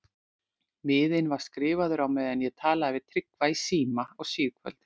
Miðinn var skrifaður á meðan ég talaði við Tryggva í síma á síðkvöldi.